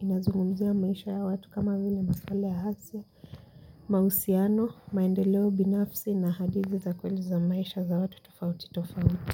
inazungumzia maisha ya watu kama vile masuala ya afya. Mausiano, maendeleo binafsi na hadithi za kweli za maisha za watu tofauti tofauti.